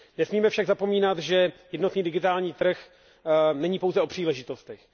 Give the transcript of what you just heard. Nesmíme však zapomínat, že jednotný digitální trh není pouze o příležitostech.